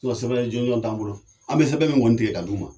sinɔn sɛbɛn jɔnɔn t'an bolo an be sɛbɛn mi kɔni tigɛ ka d'u ma